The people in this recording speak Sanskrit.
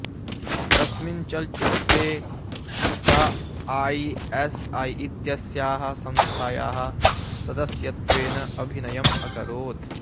तस्मिन् चलच्चित्रे सा आईएसआई इत्यस्याः संस्थायाः सदस्यत्वेन अभिनयम् अकरोत्